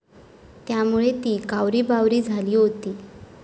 त्यामुळे ती कावरीबावरी झाली होती.